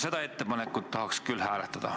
Seda ettepanekut tahaks küll hääletada.